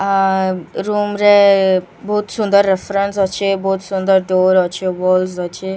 ଆ room ରେ ବହୁତ୍ ସୁନ୍ଦର୍ ରେଫରେନ୍ସ ଅଛେ ବହୁତ୍ ସୁନ୍ଦର୍ ଡୋର୍ ଅଛେ ୱଲ୍ସ ଅଛେ।